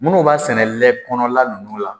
Munnu b'a sɛnɛ lɛ kɔnɔ la nunnu la